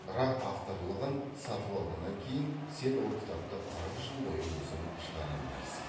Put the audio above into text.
бірақ авторлығын сатып алғаннан кейін сен ол кітапты қырық жыл бойы өзің шығара алмайсың